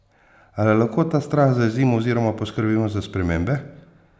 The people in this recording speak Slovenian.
Ali lahko ta strah zajezimo oziroma poskrbimo za spremembe?